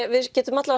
við getum